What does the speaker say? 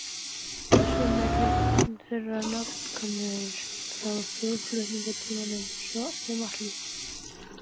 Eru sumir þeirra nafnkunnir frá þjóðflutningatímanum, svo sem Atli